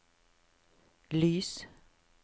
lys